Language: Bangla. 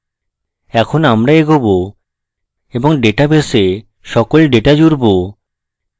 এখন আমরা এগোবো এবং আমাদের ডেটাবেসে সকল ডেটা জুড়ব